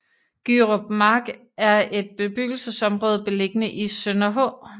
Gyrup Mark er et bebyggelsesområde beliggende i Sønderhå